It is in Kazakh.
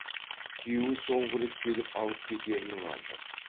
күйеуі соңғы рет келіп алып кетерінің алды